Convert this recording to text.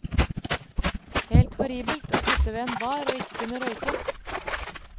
Helt horribelt å sitte ved en bar og ikke kunne røyke.